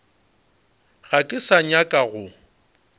ga ke sa nyaka go